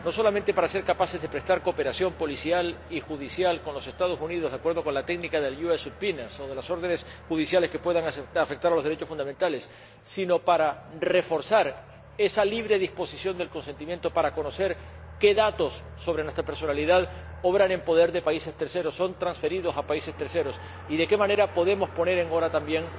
No solamente para ser capaces de prestar cooperación policial y judicial con los Estados Unidos de acuerdo con la técnica de ayudas subpoenas o con las órdenes judiciales que puedan afectar a los derechos fundamentales, sino para reforzar esa libre disposición del consentimiento, para conocer qué datos sobre nuestra personalidad obran en poder de terceros países, son transferidos a terceros países, y de qué manera podemos poner en hora también